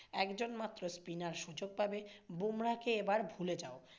একজন মাত্র spinner সুযোগ পাবে, বুমরাহ কে এবার ভুলে যাও।